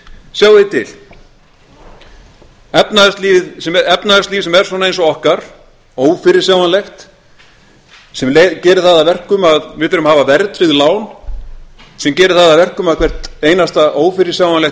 sjáið þið til efnahagslíf sem er svona eins og okkar ófyrirsjáanlegt sem gerir það að erum að við þurfum að hafa verðtryggð lán sem gerir það að verkum að hvert einasta ófyrirsjáanlegt